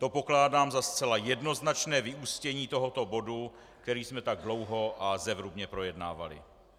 To pokládám za zcela jednoznačné vyústění tohoto bodu, který jsme tak dlouho a zevrubně projednávali.